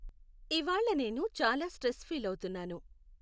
ఇవ్వాళ నేను చాలా స్ట్రెస్ ఫీలవుతున్నాను .